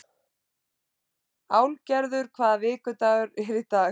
Álfgerður, hvaða vikudagur er í dag?